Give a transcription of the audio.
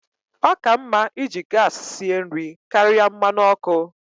Ọ ka mma iji gas sie nri karịa mmanụ ọkụ.